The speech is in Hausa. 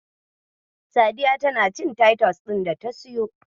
Sadiya tana cin taitus ɗin data siyo.